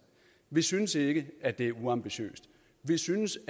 vi synes ikke at det er uambitiøst vi synes